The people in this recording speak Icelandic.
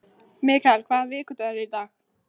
Mikael, hvaða vikudagur er í dag?